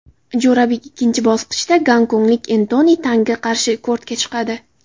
Jo‘rabek ikkinchi bosqichda gonkonglik Entoni Tangga qarshi kortga chiqadi.